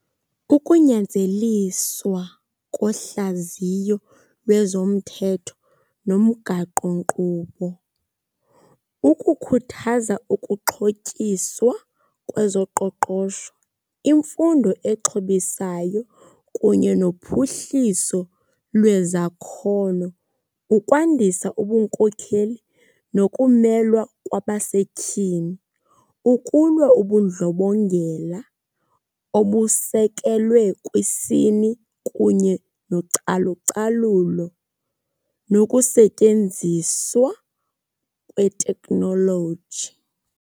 Kukunyanzeliswa kohlaziyo lwezomthetho lomgaqonkqubo, ukukhuthaza ukuxhotyiswa kwezoqoqosho, imfundo exhobisayo kunye nophuhliso lwezakhono. Ukwandisa ubunkokheli nokumelwa kwabasetyhini. Ukulwa ubundlobongela obusekelwe kwisini kunye nocalucalulo nokusetyenziswa kweteknoloji.